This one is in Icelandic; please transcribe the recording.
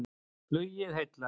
Flugið heillar